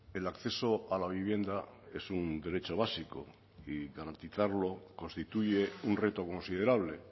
el acceso a la vivienda es un derecho básico y garantizarlo constituye un reto considerable